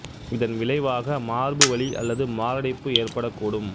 இதன் விளைவாக மார்பு வலி அல்லது மாரடைப்பு ஏற்படக் கூடும்